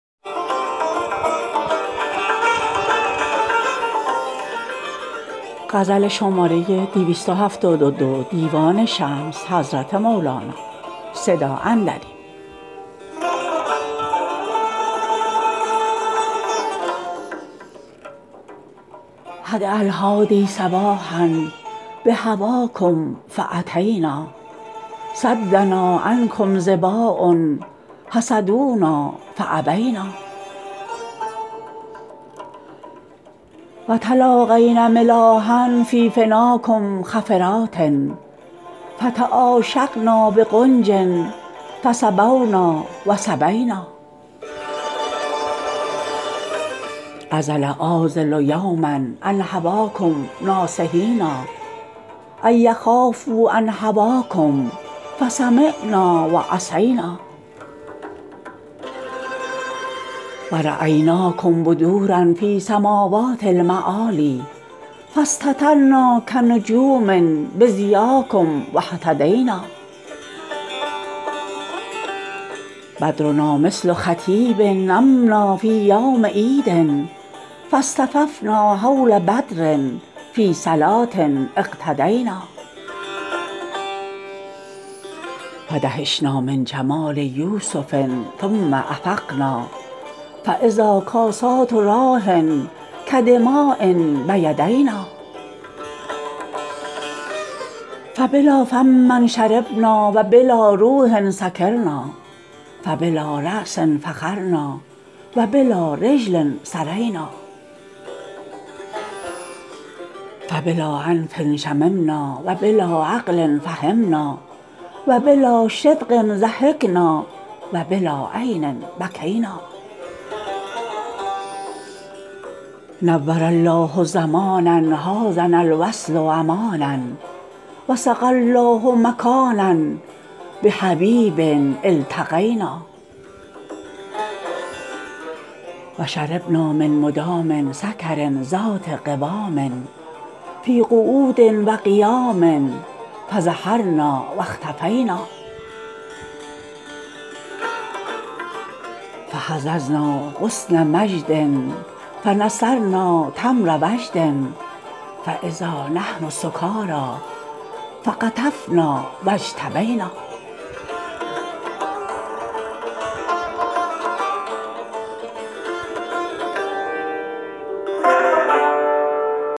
حداء الحادی صباحا بهواکم فاتینا صدنا عنکم ظباء حسدونا فابینا و تلاقینا ملاحا فی فناکم خفرات فتعاشقنا بغنج فسبونا و سبینا عذل العاذل یوما عن هواکم ناصحیا ان یخافوا عن هواکم فسمعنا و عصینا و رایناکم بدورا فی سماوات المعالی فاستترنا کنجوم بضیاکم و اهتدینا بدرنا مثل خطیب امنا فی یوم عید فاصطفینا حول بدر فی صلوه اقتدینا فدهشنا من جمال یوسف ثم افقنا فاذا کاسات راح کدماء بیدینا فبلا فم شربنا و بلا روح سکرنا فبلا راس فخرنا و بلا رجل سرینا فبلا انف شممنا و بلا عقل فهمنا و بلا شدق ضحکنا و بلا عین بکینا نور الله زمانا حازنا الوصل امانا و سقی الله مکانا بحبیب التقینا و شربنا من مدام سکر ذات قوام فی قعود و قیام فظهرنا و اختفینا فهززنا غصن مجد فنثرنا تمر وجد فاذا نحن سکاری فطفقنا و اجتبینا